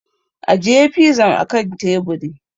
Ajiye fizan a kan teburi!